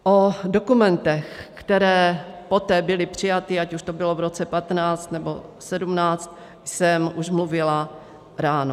O dokumentech, které poté byly přijaty, ať už to bylo v roce 2015, nebo 2017, jsem už mluvila ráno.